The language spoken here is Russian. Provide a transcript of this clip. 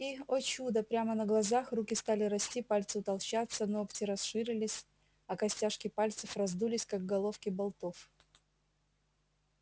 и о чудо прямо на глазах руки стали расти пальцы утолщаться ногти расширились а костяшки пальцев раздулись как головки болтов